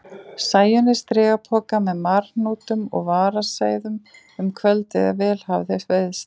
Sæunni strigapoka með marhnútum og varaseiðum um kvöldið ef vel hafði veiðst.